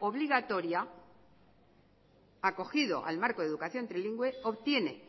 obligatoria acogido al marco de educación trilingüe obtiene